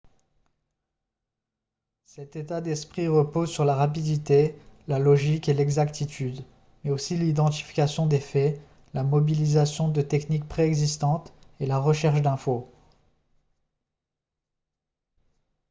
cet état d'esprit repose sur la rapidité la logique et l'exactitude mais aussi l'identification des faits la mobilisation de techniques pré-existantes et la recherche d'infos